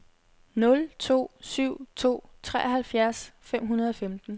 nul to syv to treoghalvfjerds fem hundrede og femten